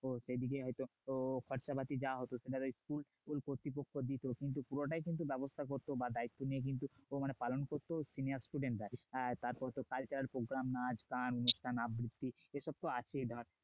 হত খরচাপাতি যা হতো স্কুল কর্তৃপক্ষ দিত কিন্তু পুরোটাই কিন্তু ব্যবস্থা করতে বা দায়িত্ব মানে পালন করত senior students তারপর cultural program নাচ গান আবৃত্তি এসব তো আছেই